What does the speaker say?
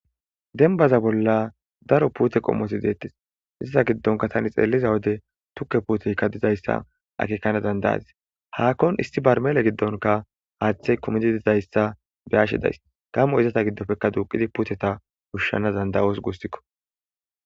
Denbaza bolla daro puute qommoti deettes izata giddonka tani xeelliza wode tukke puuteykka dizayssa akekana dandayadis haakkon isti barmele giddonka haaththey kumidi dizayssa beyashe days gammo izata giddopfekka duuqidi puuteta hushshana dandayos guustikko